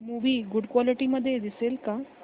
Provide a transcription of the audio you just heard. movie good quality मध्ये दिसेल का